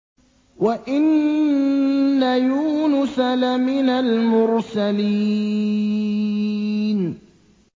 وَإِنَّ يُونُسَ لَمِنَ الْمُرْسَلِينَ